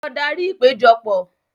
Lọ darí ìpéjọpọ̀!